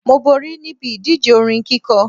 Mo borí níbi ìdíje orin kíkọ